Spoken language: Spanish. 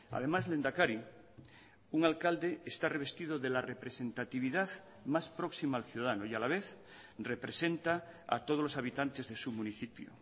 además lehendakari un alcalde está revestido de la representatividad más próxima al ciudadano y a la vez representa a todos los habitantes de su municipio